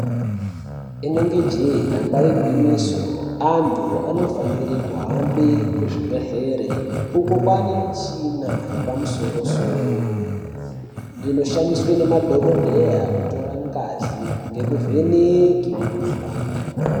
Inenge jee damba igwinyiso antu ano fanire kuhambe ku zvibhedhlere uko kwane michina yepa musoro soro ino shandiswe ne madhokodheya kutora ngazi ngeku vheneke mi kuhlani.